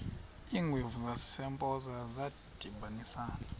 iingwevu zasempoza zadibanisana